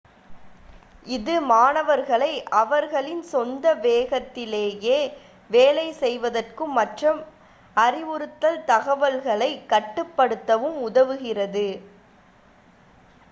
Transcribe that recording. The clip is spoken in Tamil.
இது மாணவர்களை அவர்களின் சொந்த வேகத்திலேயே வேலை செய்வதற்கும் மற்றும் அறிவுறுத்தல் தகவல்களை கட்டுப்படுத்தவும் உதவுகிறது